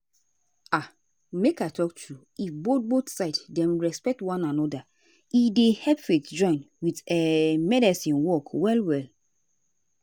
um make i talk true if both both side dem respect one anoda e dey help faith--join with um medicine work well well.